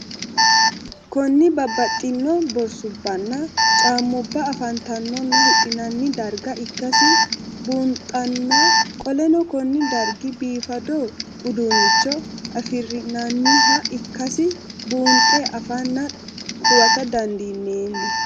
Kuni babaxino borsubanna caamuba afantanonna hidhinani darga ikasi bunxana qoleno Kuni dargi bifado udunicho afirina'nniha ikasi bunxe afanna huwata dandinemo?